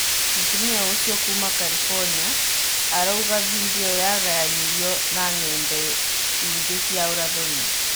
Mũtumia ũcio kuuma Karibonia, arauga vindioĩyo yagayanirwo na ng'enda ingĩ cia ũrathoni.